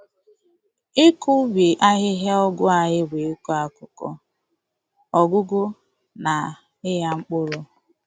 Ịkọ ubi ahịhịa ọgwụ anyị bụ ịkọ akụkọ, ọgwụgwọ, na ịgha mpkụrụ.